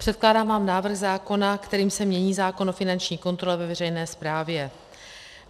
Předkládám vám návrh zákona, kterým se mění zákon o finanční kontrole ve veřejné správě.